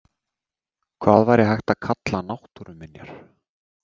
Hvað væri hægt að kalla náttúruminjar?